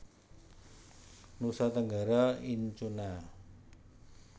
Nusa Tenggara Incuna